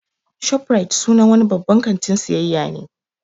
'Shoprite" sunan wani babban kantin siayya ne